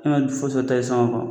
E ma foyi ta sɔngɔ kɔ